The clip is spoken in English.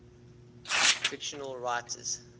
fictional writers